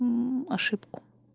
мм ошибку